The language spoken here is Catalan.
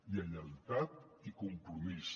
lleialtat i compromís